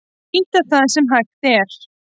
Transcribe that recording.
Nýta það sem hægt er